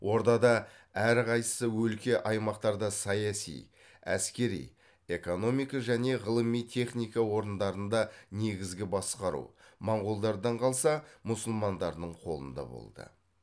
ордада әр қайсы өлке аймақтарда саяси әскери экономика және ғылыми техника орындарында негізгі басқару моңғолдардан қалса мұсылмандардың қолында болды